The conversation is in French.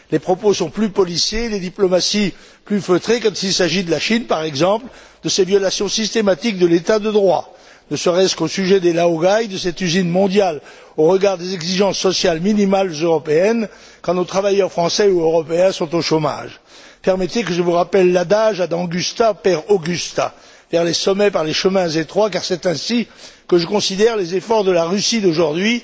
Les propos sont plus policés, les diplomaties plus feutrées, quand il s'agit de la Chine, par exemple, de ses violations systématiques de l'État de droit, ne serait ce qu'au sujet des laogaï, de cette usine mondiale au regard des exigences sociales minimales européennes, quand nos travailleurs français ou européens sont au chômage. Permettez que je vous rappelle l'adage ad augusta per angusta vers les sommets par les chemins étroits, car c'est ainsi que je considère les efforts de la Russie d'aujourd'hui,